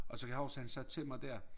Og så kan jeg huske han sagde til mig dér